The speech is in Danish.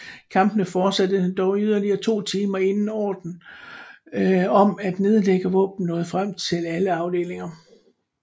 Kampene fortsatte dog i yderligere to timer inden ordren om at nedlægge våbnene nåede frem til alle afdelinger